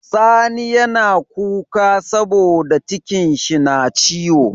Sani yAna kuka saboda cikin shi na ciwo